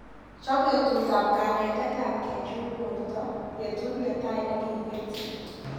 Chap betutap kanetet ap kechul borta betut netai akiketyi.